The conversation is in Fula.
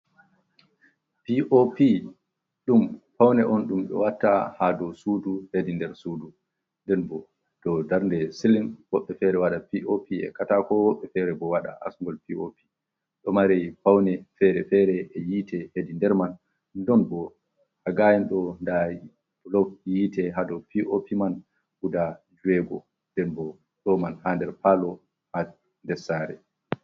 Pop ɗum paune on ɗum ɓe watta ha dou sudu hedi nder sudu, nden bo dou darnde siling woɓɓe fere waɗa pop e katako, woɓɓe fere bo waɗa asmol pop, ɗo mare paune fere-fere e yite hedi nder man, ɗon bo ha gayen ɗo nda blo yitte ha dou pop man guda juego, nden bo ɗo man ha nder palo ha nder sare.